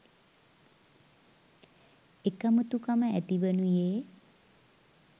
එකමුතුකම ඇතිවනුයේ